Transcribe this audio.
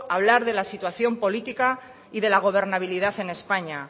hablar de la situación política y de la gobernabilidad en españa